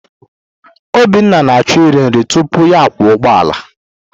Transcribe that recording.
Obinna na-achọ iri nri tupu ya akwọ ụgbọala.